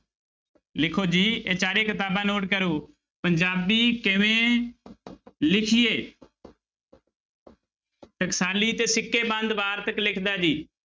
ਲਿਖੋ ਜੀ ਇਹ ਚਾਰਾਂ ਕਿਤਾਬਾਂ note ਕਰੋ ਪੰਜਾਬੀ ਕਿਵੇਂ ਲਿਖੀਏ ਟਕਸਾਲੀ ਤੇ ਸਿੱਕੇਬੰਦ ਵਾਰਤਕ ਲਿਖਦਾ ਜੀ।